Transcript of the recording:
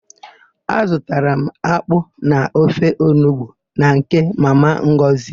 Azụtara m akpụ na ofe onugbu na nke Mama Ngọzị.